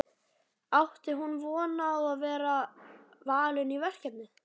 Átti hún von á að vera valin í verkefnið?